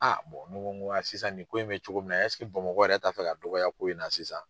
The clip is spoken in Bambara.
mɔ mɔ mɔgɔya sisan nin ko in bɛ cogo min na ɛseke bamakɔ yɛrɛ t'a fɛ ka dɔgɔya ko in na sisan.